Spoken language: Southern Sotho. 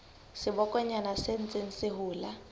sebokonyana se ntseng se hola